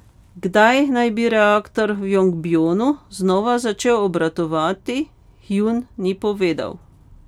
Kdaj naj bi reaktor v Jongbjonu znova začel obratovati, Hjun ni povedal.